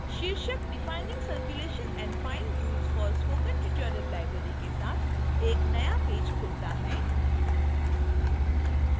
शीर्षक defining circulation and fine rules for spoken tutorial library के साथ एक नया पेज खुलता है